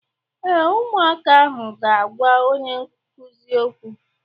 Ee, ụmụaka ahụ ga-agwa onye nkụzi okwu.